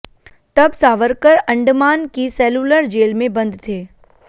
तब सावरकर अंडमान की Cellular Jail में बंद थे